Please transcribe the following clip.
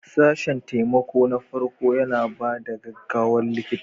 Sashen taimakon farko yana ba da gaggawar likita.